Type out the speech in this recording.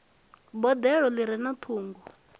boḓelo ḓi re na ṱhungu